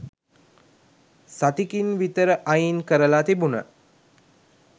සතිකින් විතරඅයින් කරලා තිබුන.